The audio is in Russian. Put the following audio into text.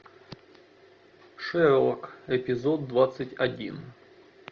шерлок эпизод двадцать один